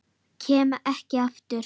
Kem ekki aftur.